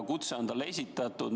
Kutse on talle esitatud.